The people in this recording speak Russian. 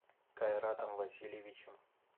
кайратом васильевичем